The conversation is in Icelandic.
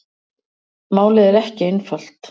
Málið er ekki einfalt.